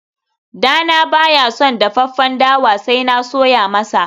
dana baya son dafaffen dawa sai na soya masa